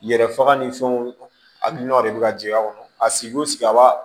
Yɛrɛ faga ni fɛnw hakilina de bɛ ka jigin a kɔnɔ a sigi o sigi a b'a